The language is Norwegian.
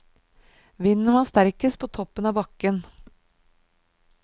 Vinden var sterkest på toppen av bakken.